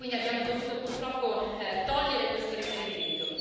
Abbiamo dovuto purtroppo togliere questo riferimento.